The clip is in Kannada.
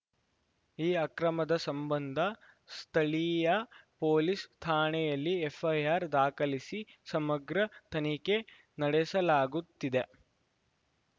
ಈ ಅಕ್ರಮದ ಸಂಬಂಧ ಸ್ಥಳೀಯ ಪೊಲೀಸ್‌ ಠಾಣೆಯಲ್ಲಿ ಎಫ್‌ಐಆರ್‌ ದಾಖಲಿಸಿ ಸಮಗ್ರ ತನಿಖೆ ನಡೆಸಲಾಗುತ್ತಿದೆ